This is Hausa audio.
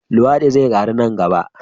Luwadi zai karu nan gaba.